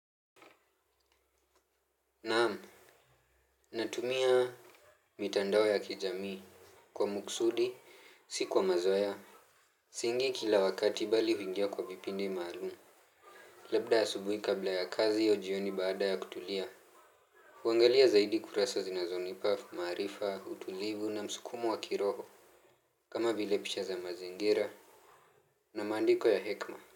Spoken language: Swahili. Naam. Natumia mitandao ya kijamii kwa muksudi, si kwa mazoea. Siingii kila wakati bali huingia kwa vipindi maalumu. Labda asubuhi kabla ya kazi au ujioni baada ya kutulia. Huangalia zaidi kurasa zinazonipa, maarifa, utulivu na msukumo wa kiroho. Kama vile picha za mazingira na maandiko ya hekima.